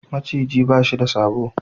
Maciji ba shi da sabo.